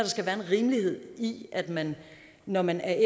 skal være en rimelighed i at man når man er